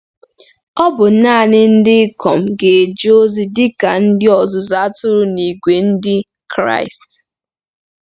Ọ bụ nanị ndị ikom ga-eje ozi dị ka ka ndị ọzụzụ atụrụ n'ìgwè Ndị Kraịst.